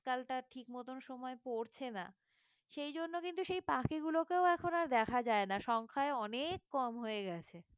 শীতকালটা ঠিক মতন সময় পড়ছে না সেজন্য কিন্তু সেই পাখিগুলোকেও এখন আর দেখা যায় না সংখ্যায় অনেক কম হয়ে গেছে